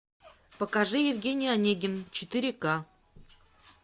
покажи евгений онегин четыре ка